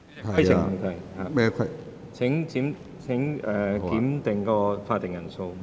我要求點算法定人數。